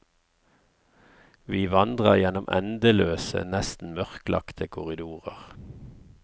Vi vandrer gjennom endeløse, nesten mørklagte korridorer.